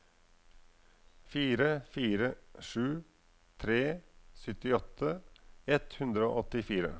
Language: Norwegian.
fire fire sju tre syttiåtte ett hundre og åttifire